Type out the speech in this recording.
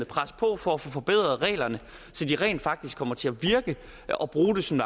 presse på for at få forbedret reglerne så de rent faktisk kommer til at virke og bruge det som